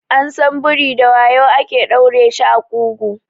An san biri da wayu ake ɗaure shi a ƙugu